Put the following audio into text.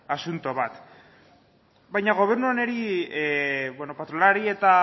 asunto bat baina gobernu honi patronalari eta